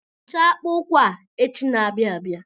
Hichaa akpa ụkwụ a echi na-abịa abịa.